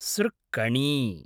सृक्कणी